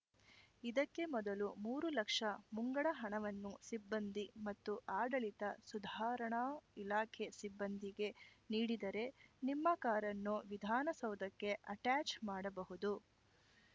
ಇದಕ್ಕೆ ಮೊದಲು ಮೂರು ಲಕ್ಷ ಮುಂಗಡ ಹಣವನ್ನು ಸಿಬ್ಬಂದಿ ಮತ್ತು ಆಡಳಿತ ಸುಧಾರಣಾ ಇಲಾಖೆ ಸಿಬ್ಬಂದಿಗೆ ನೀಡಿದರೆ ನಿಮ್ಮ ಕಾರನ್ನು ವಿಧಾನಸೌಧಕ್ಕೆ ಆಟ್ಯಾಚ್‌ ಮಾಡಬಹುದು